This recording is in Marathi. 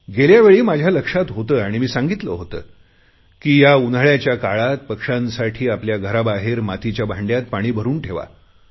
गेल्या वेळी माझ्या लक्षात होते आणि मी सांगितले होते की उन्हाळयाच्या काळात पक्षांसाठी आपल्या दाराबाहेर मातीच्या भांडयात पाणी भरुन ठेवा